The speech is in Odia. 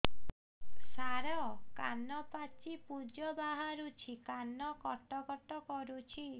ସାର କାନ ପାଚି ପୂଜ ବାହାରୁଛି କାନ କଟ କଟ କରୁଛି